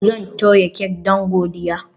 Zan toya kek don godiya